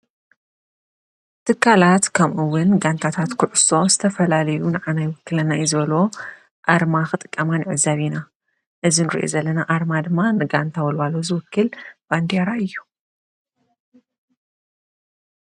ትካላት ከምኡውን ጋንታታት ኩዕሶ ዝተፈላለዩ ንዓና ይውክለና እዩ ዝበሉዎ ኣርማ ክጥቀማ ንዕዘብ ኢና፡፡ እዚ ንሪኦ ዘለና ድማ ንጋንታ ወልዋሎ ዝውክል ባንዴራ እዩ፡፡